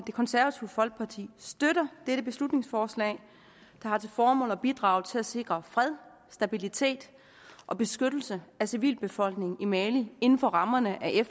det konservative folkeparti støtter dette beslutningsforslag der har til formål at bidrage til at sikre fred stabilitet og beskyttelse af civilbefolkningen i mali inden for rammerne af